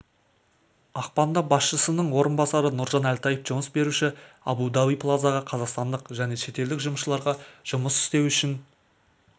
ақпанда басшысының орынбасары нұржан әлтаев жұмыс беруші абу-даби плазаға қазақстандық және шетелдік жұмысшыларға жұмыс істеу үшін